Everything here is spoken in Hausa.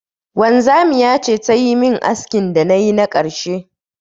Wanzamiya ce ta yi min askin da na yi na karshe.